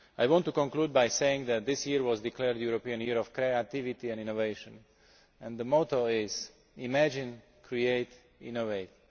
I want to conclude by saying that this year was declared the European Year of Creativity and Innovation and the motto is imagine, create, innovate.